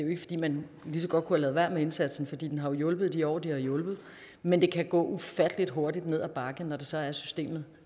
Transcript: ikke fordi man lige så godt kunne have ladet være med indsatsen for den har hjulpet i de år den har hjulpet men det kan gå ufattelig hurtigt ned ad bakke når det så er at systemet